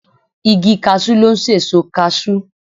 Igi kasú ló n sèso kasú